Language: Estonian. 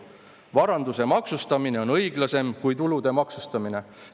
Varanduse maksustamine on õiglasem kui tulude maksustamine.